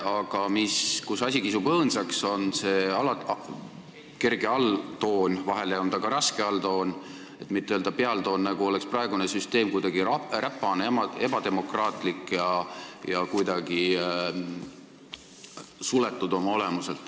Aga mille pärast asi kisub õõnsaks, on see kerge alltoon – vahel on ta ka raske alltoon, et mitte öelda pealtoon –, nagu oleks praegune süsteem kuidagi räpane, ebademokraatlik ja oma olemuselt suletud.